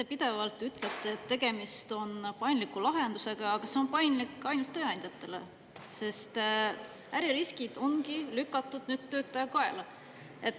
Te pidevalt ütlete, et tegemist on paindliku lahendusega, aga see on paindlik ainult tööandjatele, sest äririskid ongi lükatud nüüd töötaja kaela.